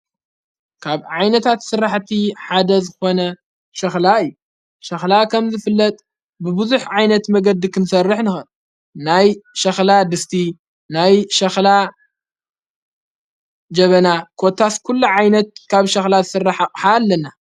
ካብ ዓይነታት ሥራሕቲ ሓደዘ ኾነ ሸኽላ እይ ሸኽላ ኸም ዘፍለጥ ብብዙኅ ዓይነት መገዲ ኽንሠርሕ ን ናይ ሸኽላ ድስቲ ናይ ሸኽላ ጀበና ኰታስኲሉ ዓይነት ካብ ሸኽላት ሠራሕሓ ኣለና።